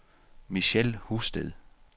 Michelle Husted